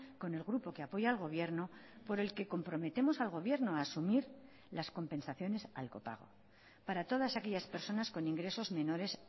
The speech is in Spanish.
con el grupo que apoya al gobierno por el que comprometemos al gobierno a asumir las compensaciones al copago para todas aquellas personas con ingresos menores